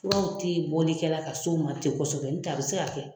Furaw ti bɔli kɛla ka s'o ma ten kosɛbɛ ntɛ a bɛ se ka kɛ.